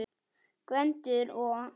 Gvendur og